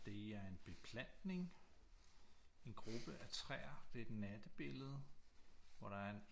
Det er en beplantning en gruppe af træer det er et nattebillede hvor der er en